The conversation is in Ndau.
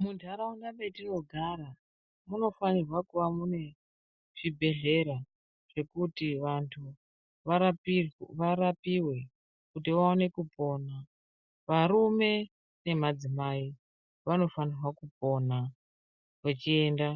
Muntaraunda metinogara munofanirwa kuve mune zvibhedhlera zvekuti vantu varapiwe kuti vaone kupona varume nemadzimai vanofanirwa kupona vachiende